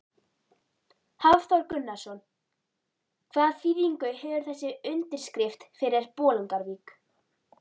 Hafþór Gunnarsson: Hvaða þýðingu hefur þessi undirskrift fyrir Bolungarvík?